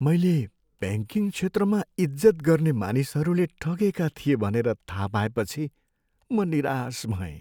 मैले ब्याङ्किङ क्षेत्रमा इज्जत गर्ने मानिसहरूले ठगेका थिए भनेर थाह पाएपछि म निराश भएँ।